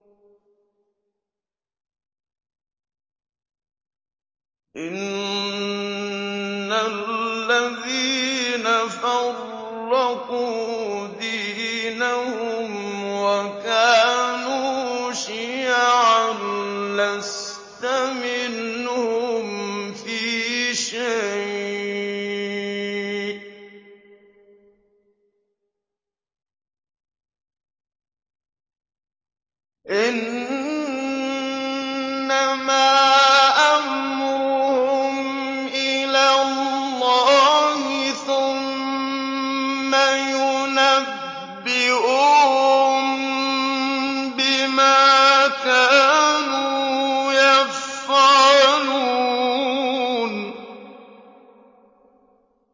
إِنَّ الَّذِينَ فَرَّقُوا دِينَهُمْ وَكَانُوا شِيَعًا لَّسْتَ مِنْهُمْ فِي شَيْءٍ ۚ إِنَّمَا أَمْرُهُمْ إِلَى اللَّهِ ثُمَّ يُنَبِّئُهُم بِمَا كَانُوا يَفْعَلُونَ